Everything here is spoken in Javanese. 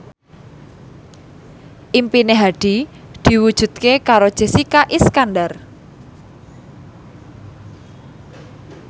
impine Hadi diwujudke karo Jessica Iskandar